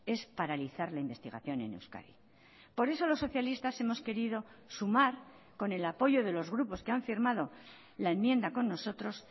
es paralizar la investigación en euskadi por eso los socialistas hemos querido sumar con el apoyo de los grupos que han firmado la enmienda con nosotros